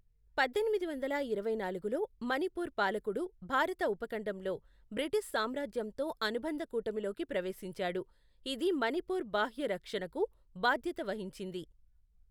పద్దెనిమిది వందల ఇరవై నాలుగులో, మణిపూర్ పాలకుడు భారత ఉపఖండంలో బ్రిటిష్ సామ్రాజ్యంతో అనుబంధ కూటమిలోకి ప్రవేశించాడు, ఇది మణిపూర్ బాహ్య రక్షణకు బాధ్యత వహించింది.